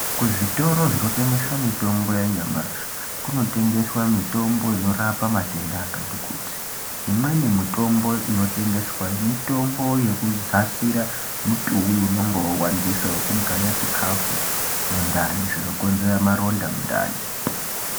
Kuzvitoro zvinotengese mitombo yanyamashi kunotengeswa mitombo i norapa matenda akati kuti imweni mitombo inotengeswayo mitombo yekudzasira mutuwi unonga wawandisa wekugaya chikafu mundani zvinokonzera maronda mundani.